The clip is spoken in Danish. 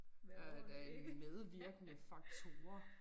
Øh da en medvirkende faktorer